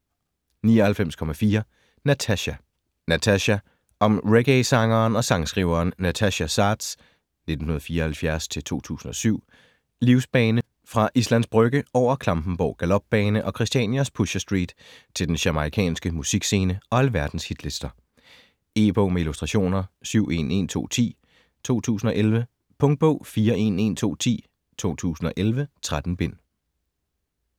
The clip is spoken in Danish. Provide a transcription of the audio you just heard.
99.4 Natasja Natasja Om reggaesangeren og sangskriveren Natasja Saads (1974-2007) livsbane fra Islands Brygge over Klampenborg Galopbane og Christianias Pusher Street til den jamaicanske musikscene og alverdens hitlister. E-bog med illustrationer 711210 2011. Punktbog 411210 2011. 13 bind.